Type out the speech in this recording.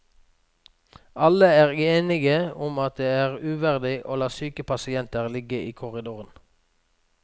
Alle er enige om at det er uverdig å la syke pasienter ligge i korridoren.